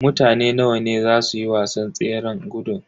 Mutane nawa ne a zasu yi wasan tseran gudun.